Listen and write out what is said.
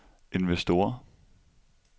investorer